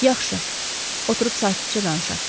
Yaxşı, oturub sakitcə danışaq.